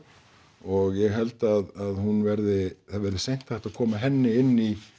og ég held að hún verði það verði seint hægt að koma henni inn í